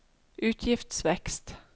utgiftsvekst